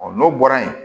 Ɔ n'o bɔra yen